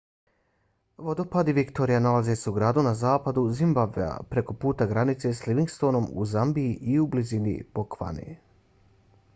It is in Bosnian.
vodopadi victoria nalaze se u gradu na zapadu zimbabvea preko puta granice s livingstonom u zambiji i u blizini bocvane